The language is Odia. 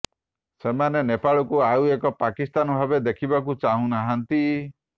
ସେମାନେ ନେପାଳକୁ ଆଉ ଏକ ପାକିସ୍ତାନ ଭାବେ ଦେଖିବାକୁ ଚାହୁଁନାହାଁନ୍ତି